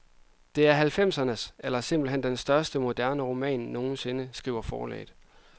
Det er halvfemsernes, eller simpelthen den største moderne roman nogensinde, skriver forlaget.